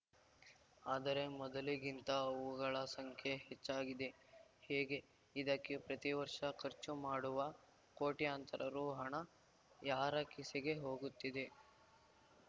ಆದರೆ ಮೊದಲಿಗಿಂತ ಅವುಗಳ ಸಂಖ್ಯೆ ಹೆಚ್ಚಾಗಿದೆ ಹೇಗೆ ಇದಕ್ಕೆ ಪ್ರತಿವರ್ಷ ಖರ್ಚುಮಾಡುವ ಕೋಟ್ಯಂತರ ರು ಹಣ ಯಾರ ಕಿಸೆಗೆ ಹೋಗುತ್ತಿದೆ